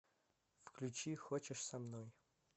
включи хочешь со мной